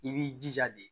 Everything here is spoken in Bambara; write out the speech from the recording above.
I b'i jija de